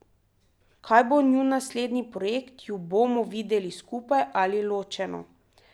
Kaj bo njun naslednji projekt, ju bomo videli skupaj ali ločeno?